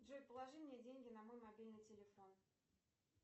джой положи мне деньги на мой мобильный телефон